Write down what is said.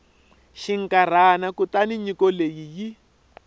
xinkarhana kutani nyiko leyi yi